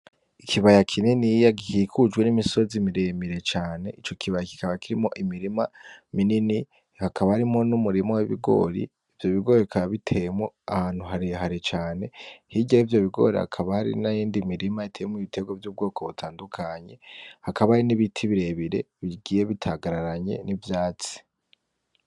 Ikibaya kininiya gikikujwe n'imisozi miremire cane ico kibaya kikaba kirimwo imirima minini hakaba harimwo n'umurima w'ibigori, ivyo bigori bikaba biteyemwo ahantu harehare cane, hirya yivyo bigori hakaba hari n'iyindi mirima iteyemwo ibitegwa vy'ubwoko butandukanye, hakaba hari n'ibiti birere bigiye bitagararanye n'ivyatsi.